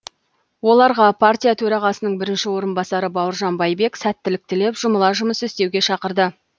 оларға партия төрағасының бірінші орынбасары бауыржан байбек сәттілік тілеп жұмыла жұмыс істеуге шақырды